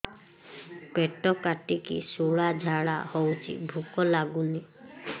ପେଟ କାଟିକି ଶୂଳା ଝାଡ଼ା ହଉଚି ଭୁକ ଲାଗୁନି